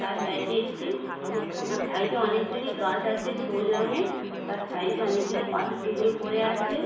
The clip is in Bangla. তার সাইড এ একটি সাইড এ অনেকগুলি গাছ আছে সবুজ রঙের। তার সাইড এ অনেক গুলি পাথর টুকরো পরে আছে --